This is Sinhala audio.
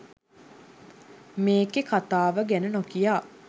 මේකේ කතාව ගැන නොකියා